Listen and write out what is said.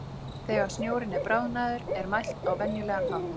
Þegar snjórinn er bráðnaður er mælt á venjulegan hátt.